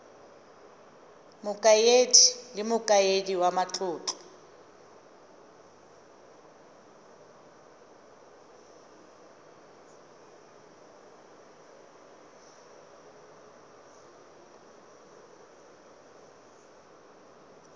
mokaedi le mokaedi wa matlotlo